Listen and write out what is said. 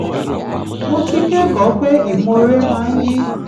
mo ti kẹ́kọ̀ọ́ pé ìmoore máa ń yí